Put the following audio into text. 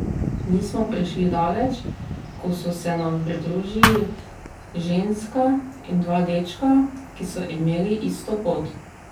Nismo prišli daleč, ko so se nam pridružili ženska in dva dečka, ki so imeli isto pot.